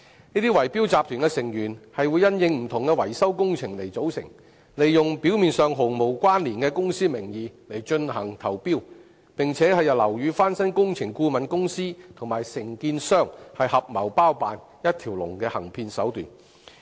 這些圍標集團因應不同維修工程而組成，利用表面上毫無關連的公司名義進行投標，並由樓宇翻新工程顧問公司和承建商合謀包辦一條龍的行騙手段。